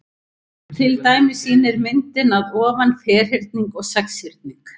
Til dæmis sýnir myndin að ofan ferhyrning og sexhyrning.